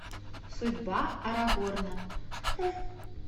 судьба арагорна